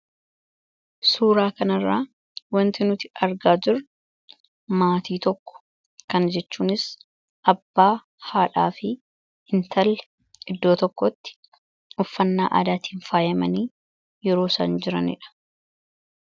suuraa kanarraa wanti nuti argaa jirru maatii tokko kana jechuunis abbaa, haadhaa fi intala iddoo tokkotti uffannaa aadaatiin faayimanii yeroo san jiraniidha